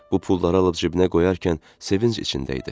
Bu pulları alıb cibinə qoyarkən sevinc içində idi.